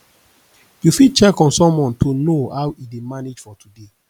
you fit check on someone to know how e dey manage for today